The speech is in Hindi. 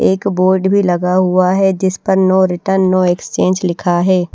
एक बोर्ड भी लगा हुआ है जिस पर नो रिटर्न नो एक्सचेंज लिखा है।